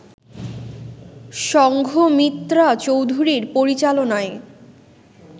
সংঘমিত্রা চৌধুরীর পরিচালনায়